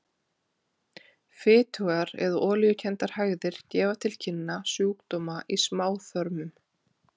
Fitugar eða olíukenndar hægðir gefa til kynna sjúkdóma í smáþörmum.